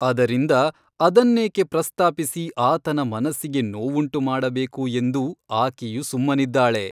ಅದರಿಂದ ಅದನ್ನೇಕೆ ಪ್ರಸ್ತಾಪಿಸಿ ಆತನ ಮನಸ್ಸಿಗೆ ನೋವುಂಟು ಮಾಡಬೇಕು ಎಂದು ಆಕೆಯು ಸುಮ್ಮನಿದ್ದಾಳೆ.